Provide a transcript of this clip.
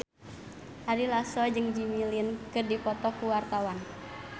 Ari Lasso jeung Jimmy Lin keur dipoto ku wartawan